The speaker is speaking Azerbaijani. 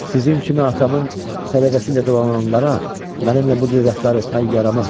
Sizin kimi atamın sədaqəti ilə dolananlara mənimlə bu cür rəftar etmək yaramaz.